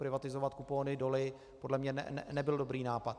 Privatizovat kupony doly podle mě nebyl dobrý nápad.